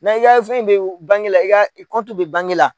Ni i y'a fɛn bɛ bangela i ka kɔntu bɛ bange la.